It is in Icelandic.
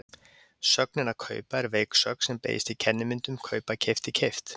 Sögnin að kaupa er veik sögn sem beygist í kennimyndum kaupa- keypti- keypt.